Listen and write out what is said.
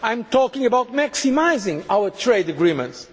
agenda. I am talking about maximising our trade agreements.